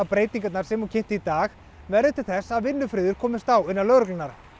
breytingar sem hún kynnti í dag verði til þess að vinnufriður komist á innan lögreglunnar